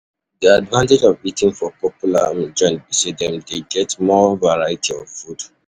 Di advantage of eating for popular um joints be say dem dey get more variety of um food. um